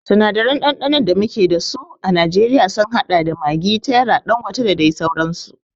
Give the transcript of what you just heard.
Sinadaran ɗanɗanon da muke dasu a najeriya sun haɗa da maggi, terra, ɗangote da dai sauransu